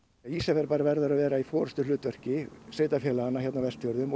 Ísafjarðarbær verður að vera í forystuhlutverki sveitarfélaganna hér á Vestfjörðum og